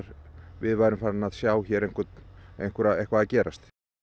við værum farin að sjá hér eitthvað að gerast